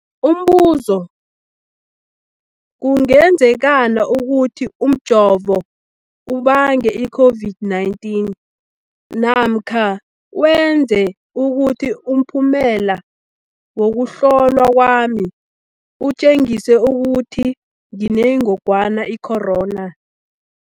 Umbuzo, kungenzekana ukuthi umjovo ubange i-COVID-19 namkha wenze ukuthi umphumela wokuhlolwa kwami utjengise ukuthi nginengogwana i-corona?